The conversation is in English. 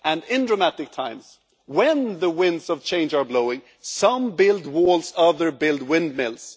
In dramatic times, when the winds of change are blowing, some build walls and others build windmills.